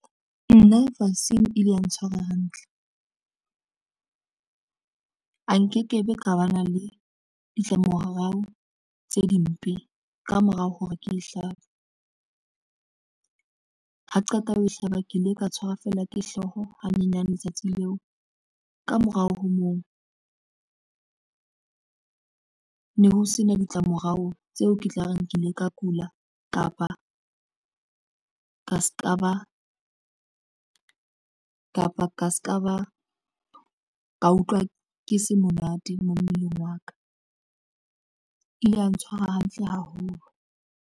Nna vaccine e ile ya ntshwara hantle a nke ke be ka ba na le ditlamorao tse dimpe kamorao hore ke hlapa ha qeta ho e hlaba ke ile ka tshwara feela ke hlooho ha nyenyane letsatsi leo. Ka morao ho moo ne ho sena ditla morao tseo ke tla reng ke ile ka kula kapa ka se ka ba kapa ka se ka ba ka utlwa ke se monate mmeleng wa ka ile ya ntshwara hantle haholo.